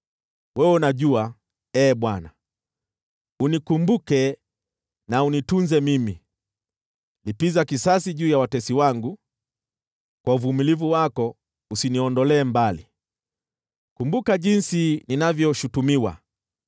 Wewe unafahamu, Ee Bwana , unikumbuke na unitunze mimi. Lipiza kisasi juu ya watesi wangu. Kwa uvumilivu wako usiniondolee mbali; kumbuka jinsi ninavyoshutumiwa.